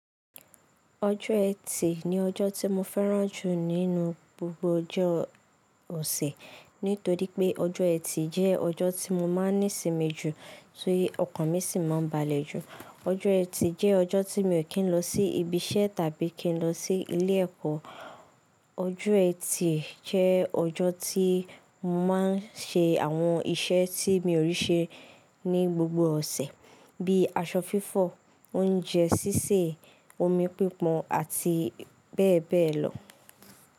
Ọjọ́ ẹtì ni ọjọ́ tí mo fẹ́ràn jù nínú gbogbo ọjọ́ òsẹ̀ nítorí pé ọjọ́ ẹtì jẹ́ ọjọ́ tí mo máa ní sinmi jù tí ọkàn mi sì máa balẹ̀ jù. Ọjọ́ ẹtì jẹ́ ọjọ́ tí mi ò kí ń lọ sí ibi iṣẹ́ tàbí kí ń lọ sí ilé ẹ̀kọ́. Ọjọ́ ẹtì jẹ ọjọ́ tí mo máa ń ṣe àwọn iṣẹ́ tí mi ò rí ṣe ní gbogbo ọ̀sẹ̀ bíi aṣọ fífọ̀, oúnjẹ sísè, omi pípon àti bẹ́ẹ̀ bẹ́ẹ̀ lọ.